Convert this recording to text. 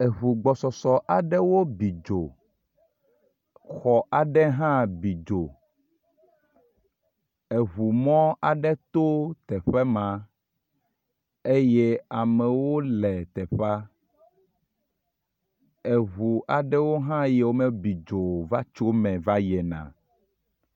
Eŋu gbɔsɔsɔ aɖewo bi dzo. Xɔ aɖe hã bi dzo. Eŋumɔ aɖe to teƒe ma eye amewo le teƒea. Eŋu aɖewo hã yiwo mebi dzo o va tso me va yina.